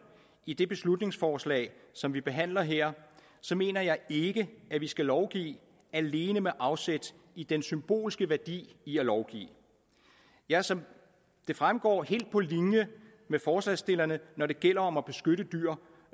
i det beslutningsforslag som vi behandler her mener jeg ikke at vi skal lovgive alene med afsæt i den symbolske værdi i at lovgive jeg er som det fremgår helt på linje med forslagsstillerne når det gælder om at beskytte dyr